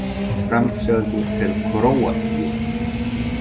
Framseldur til Króatíu